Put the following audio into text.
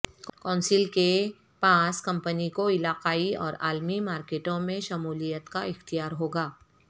council کے پاس company کو علاقائی اورعالمی مارکیٹوں میں شمولیت کا اختیار ہو گا